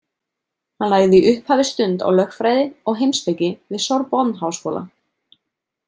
Hann lagði í upphafi stund á lögfræði og heimspeki við Sorbonneháskóla.